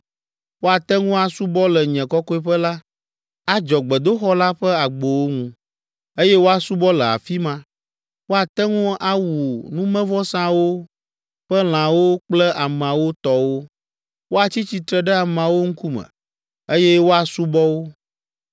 Woate ŋu asubɔ le nye kɔkɔeƒe la, adzɔ gbedoxɔ la ƒe agbowo ŋu, eye woasubɔ le afi ma; woate ŋu awu numevɔsawo ƒe lãwo kple ameawo tɔwo, woatsi tsitre ɖe ameawo ŋkume, eye woasubɔ wo.